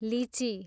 लिची